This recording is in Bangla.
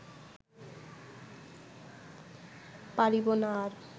পারিব না আর